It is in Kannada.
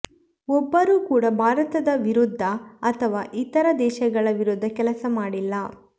ಒಬ್ಬರು ಕೂಡಾ ಭಾರತದ ವಿರುದ್ಧ ಅಥವಾ ಇತರ ದೇಶಗಳ ವಿರುದ್ಧ ಕೆಲಸ ಮಾಡಿಲ್ಲ